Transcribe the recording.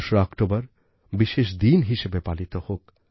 ২রা অক্টোবর বিশেষ দিন হিসেবে পালিত হোক